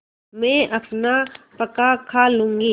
मैं अपना पकाखा लूँगी